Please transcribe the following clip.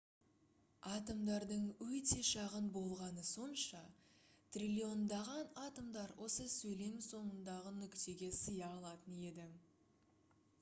атомдардың өте шағын болғаны сонша триллиондаған атомдар осы сөйлем соңындағы нүктеге сыя алатын еді